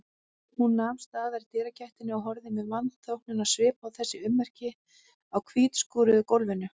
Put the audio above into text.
Hún nam staðar í dyragættinni og horfði með vanþóknunarsvip á þessi ummerki á hvítskúruðu gólfinu.